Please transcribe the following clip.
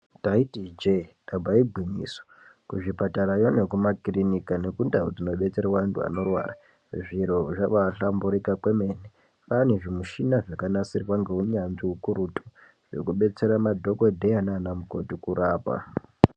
Taiti ijee ndamba igwinyiso kuzvipatarayo nekumakirinika nekundau dzinobetserwa ntu anorwara zviro zvabahlamburika kwemene kwaane zvimushna zvakanasirwa ngeunyanzvi ukurutu zvekudetsera madhokodheya naanamukoti kurapa.